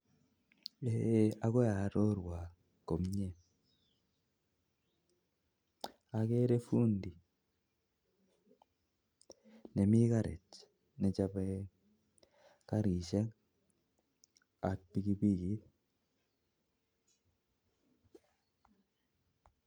Eng kiy netesetai en yu akerei fundi nemi karit nechobei karishek ak piki pikit